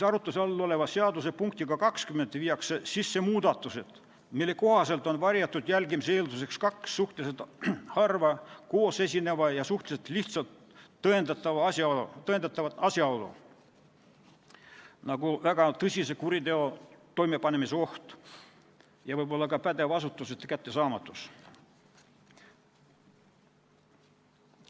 Arutluse all oleva seaduse punktiga 20 viiakse sisse muudatused, mille kohaselt on varjatud jälgimise eelduseks kaks suhteliselt harva koos esinevat ja suhteliselt lihtsalt tõendatavat asjaolu, nagu väga tõsise kuriteo toimepanemise oht ja võib-olla ka pädeva asutuse töötajate kättesaamatus.